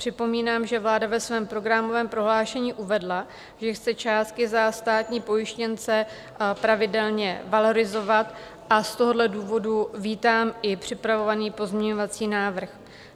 Připomínám, že vláda ve svém programovém prohlášení uvedla, že chce částky za státní pojištěnce pravidelně valorizovat, a z tohoto důvodu vítám i připravovaný pozměňovací návrh.